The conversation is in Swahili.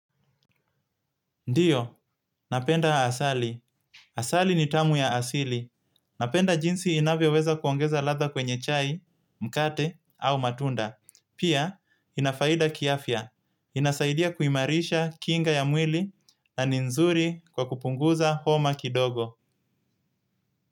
Ndiyo, napenda asali. Asali ni tamu ya asili. Napenda jinsi inavyoweza kuongeza ladha kwenye chai, mkate au matunda. Pia, inafaida kiafya. Inasaidia kuimarisha kinga ya mwili na ni nzuri kwa kupunguza homa kidogo.